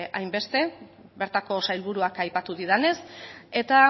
hainbeste bertako sailburuak aipatu didanez eta